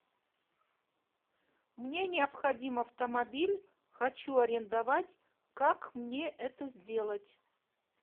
мне необходим автомобиль хочу арендовать как мне это сделать